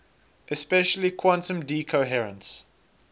especially quantum decoherence